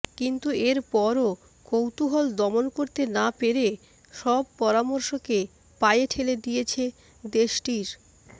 কিন্তু এর পরও কৌতূহল দমন করতে না পেরে সব পরামর্শকে পায়ে ঠেলে দিয়েছে দেশটির